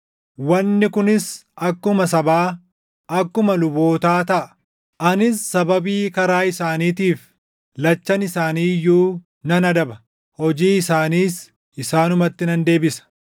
Wanni kunis akkuma sabaa, akkuma lubootaa taʼa. Anis sababii karaa isaaniitiif // lachan isaanii iyyuu nan adaba; hojii isaaniis isaanumatti nan deebisa.